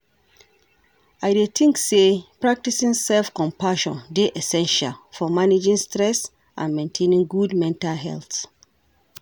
I dey think say practicing self-compassion dey essential for managing stress and maintaining good mental health.